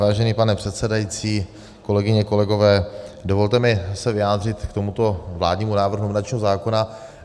Vážený pane předsedající, kolegyně, kolegové, dovolte mi se vyjádřit k tomuto vládnímu návrhu nominačního zákona.